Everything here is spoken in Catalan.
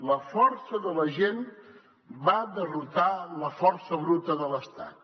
la força de la gent va derrotar la força bruta de l’estat